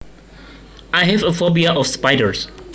I have a phobia of spiders